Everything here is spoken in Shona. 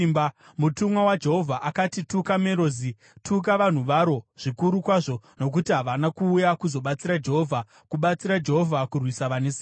Mutumwa waJehovha akati, ‘Tuka Merozi. Tuka vanhu varo zvikuru kwazvo, nokuti havana kuuya kuzobatsira Jehovha, kubatsira Jehovha kurwisa vane simba.’